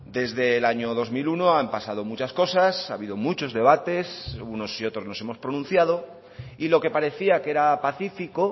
desde el año dos mil uno han pasado muchas cosas ha habido muchos debates unos y otros nos hemos pronunciado y lo que parecía que era pacífico